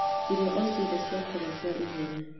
irio o cĩothe cia kũrĩa cia ihenya